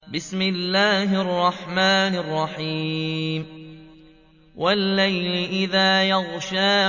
وَاللَّيْلِ إِذَا يَغْشَىٰ